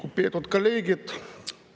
Lugupeetud kolleegid!